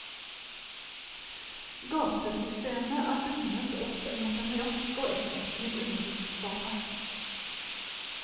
Gatesystemet er bundet opp mot en rask og effektiv undergrunnsbane.